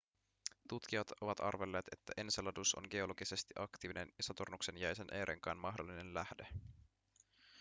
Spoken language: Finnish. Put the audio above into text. tutkijat ovat arvelleet että enceladus on geologisesti aktiivinen ja saturnuksen jäisen e-renkaan mahdollinen lähde